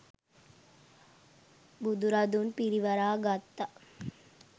බුදුරදුන් පිරිවරා ගත්තා.